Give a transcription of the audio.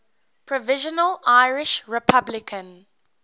provisional irish republican